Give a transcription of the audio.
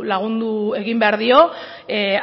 lagundu egin behar dio